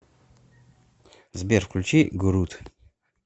сбер включи гуруд